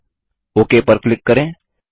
okay पर click करें